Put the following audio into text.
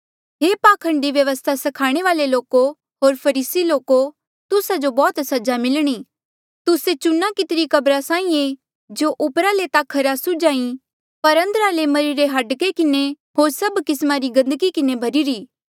हे पाखंडी व्यवस्था स्खाणे वाल्ऐ लोको होर फरीसी लोको तुस्सा जो बौह्त सजा मिलणी तुस्से चुना कितरी कब्रा साहीं ऐें जो ऊपरा ले ता खरे सुझ्हा ऐें पर अंदरा ले मरिरे रे हाड़के किन्हें होर सभ किस्मा री गंदगी किन्हें भर्हिरे